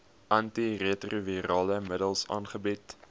antiretrovirale middels aangebied